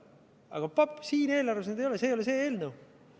Aga siin eelarves neid ei ole, see ei ole see eelnõu.